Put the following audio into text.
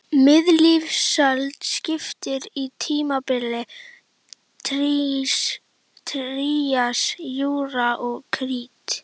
Miðlífsöld skiptist í tímabilin trías, júra og krít.